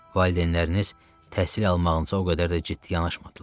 Valideynləriniz təhsil almağınıza o qədər də ciddi yanaşmadılar.